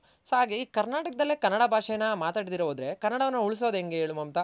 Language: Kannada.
so ಹಾಗೆ ಈ ಕರ್ನಾಟಕದಲ್ಲೇ ಕನ್ನಡ ಭಾಷೆ ನ ಮಾತಾಡ್ ದಿರ ಹೋದ್ರೆ ಕನ್ನಡನ ಉಳ್ಸೋದ್ ಹೆಂಗೆ ಹೇಳ್ ಮಮತಾ